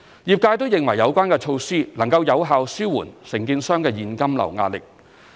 業界均認為有關措施能有效紓緩承建商的現金流壓力。